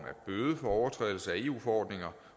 overtrædelse af eu forordninger